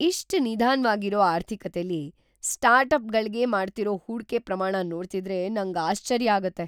ಇಷ್ಟ್ ನಿಧಾನ್ವಾಗಿರೋ ಆರ್ಥಿಕತೆಲಿ ಸ್ಟಾರ್ಟ್ಅಪ್‌ಗಳ್ಗೆ ಮಾಡ್ತಿರೋ ಹೂಡ್ಕೆ ಪ್ರಮಾಣ ನೋಡ್ತಿದ್ರೆ ನಂಗ್ ಆಶ್ಚರ್ಯ ಆಗತ್ತೆ.